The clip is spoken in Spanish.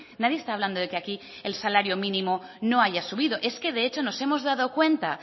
nadie está hablando de que aquí el salario mínimo no haya subido es que de hecho nos hemos dado cuenta